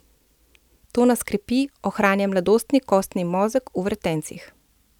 To nas krepi, ohranja mladostni kostni mozeg v vretencih.